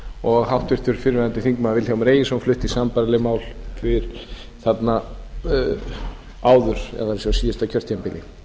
og háttvirtur fyrrverandi þingmaður vilhjálmur egilsson flutti sambærileg mál áður eða á síðasta kjörtímabili